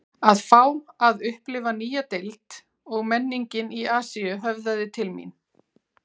Að fá að upplifa nýja deild og menningin í Asíu höfðaði til mín